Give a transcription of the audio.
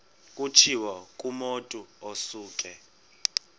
kutshiwo kumotu osuke